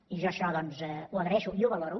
i jo això doncs ho agraeixo i ho valoro